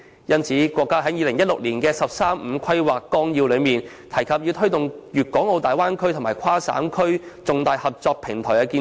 因此，國家在2016年的《十三五規劃綱要》中提到，要推動粵港澳大灣區及跨省區重大合作平台建設。